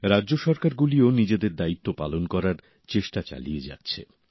রাজ্য সরকার গুলিও নিজেদের দায়িত্ব পালন করার চেষ্টা চালিয়ে যাচ্ছে